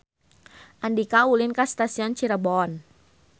Andika ulin ka Stasiun Cirebon